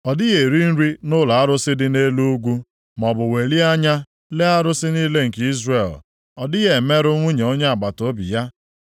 “Ọ dịghị eri nri nʼụlọ arụsị dị nʼelu ugwu maọbụ welie anya lee arụsị niile nke Izrel. Ọ dịghị emerụ nwunye onye agbataobi ya.